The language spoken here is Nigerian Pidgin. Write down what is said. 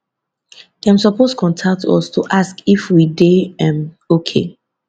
dem suppose contact us to ask if we dey um okay